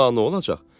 Da, nə olacaq?